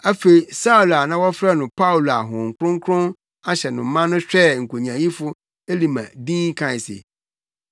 Afei Saulo a na wɔfrɛ no Paulo a Honhom Kronkron ahyɛ no ma no hwɛɛ nkonyaayifo Elima dinn kae se,